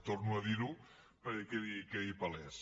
torno a dir ho perquè quedi palès